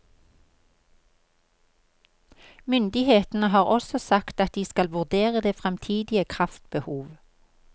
Myndighetene har også sagt at de skal vurdere det framtidige kraftbehov.